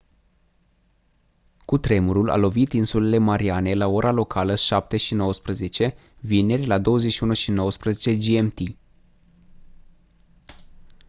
cutremurul a lovit insulele mariane la ora locală 07:19 vineri la 21:19 gmt